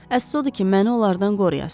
Əsası odur ki, məni onlardan qoruyasız.